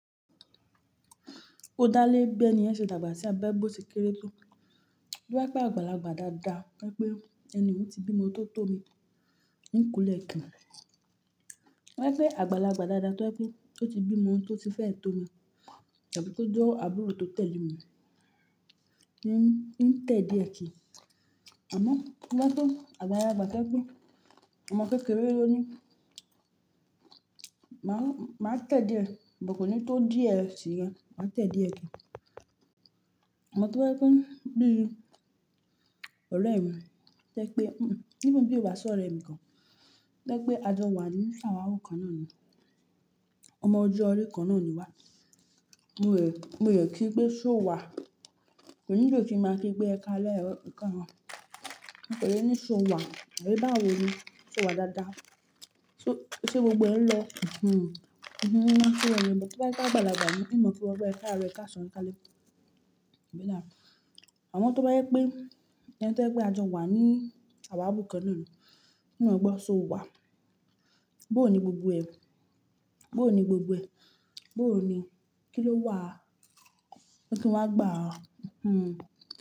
O dálè ẹgbẹ́ ni ẹ ṣe dàgbà sí abẹ́ gbòsì kéré tó. Ó wípé àgbàlagbà dáadáa wípé ẹni tí ó ti bí ọmọ tó tò mí ń kulẹ̀ kí. Ó wípé àgbàlagbà dáadáa tó ẹni tí ó ti bí ọmọ tí ó ti fẹ́ tó mi tàbí tó jẹ́ àbúrò tó tẹ̀lé mi ń tẹ díẹ̀ kí. Àmọ́ kí wá tó àgbàlagbà tẹ́ pé ọmọ kékeré ló ní, màá tẹ́ díẹ̀, àmọ́ kò ní tó díẹ̀ sí i rẹ, màá tẹ́ díẹ̀ kí. Ọmọ tó wípé bí i ọ̀rẹ́ mi tẹ́ pé, bí i wà sọ̀rọ̀ ẹ̀ mi kan wípé a jọ wà ní ṣàwárò kan náà ni. Ọmọ ojú ọrí kan náà ni wá. Mo rò kí pé ṣó wà. Kò ní jẹ́ kí n máa kí pé ẹká alẹ́ rẹ kàn án. Mo fẹ́ lé ní ṣó wà. Ṣé báwo ni? Ṣó wà dáadáa? Ṣé gbogbo ẹn lọ? Hihun. Ṣé ọ̀rẹ́ mi wípé àgbàlagbà mi ní mọ̀ pé wọ́n bá ẹ ká rẹ ká ṣọ̀rẹ́ ká lẹ́. Àmọ́ tó bá wípé ẹni tó sọ pé a jọ wà ní ṣàwárò kan náà ni, kò mọ̀ pé ṣó wà. Bóhò ni gbogbo ẹ̀? Bóhò ni gbogbo ẹ̀? Bóhò ni kí ló wà? Kí ni wá gbà á? Hihun.